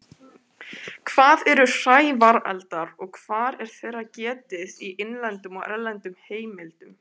Hvað eru hrævareldar og hvar er þeirra getið í innlendum og erlendum heimildum?